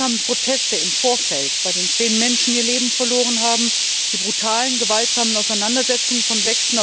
Die gewaltsamen Proteste im Vorfeld, bei denen zehn Menschen ihr Leben verloren haben, die brutalen gewaltsamen Auseinandersetzungen vom